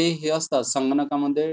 ते हे असता संगणकामध्ये